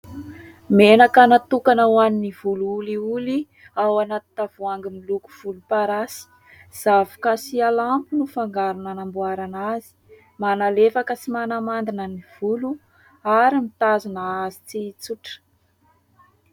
Menaka natokana ho an'ny volo olioly ao anaty tavoahangy miloko volomparasy. Zavoka sy alamo no fangarony nanamboarana azy, manalefaka sy manamandina ny volo ary mitazona azy tsy hitsotra.